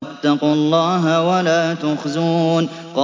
وَاتَّقُوا اللَّهَ وَلَا تُخْزُونِ